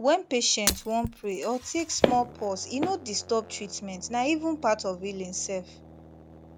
when patient wan pray or take small pause e no disturb treatment na even part of healing sef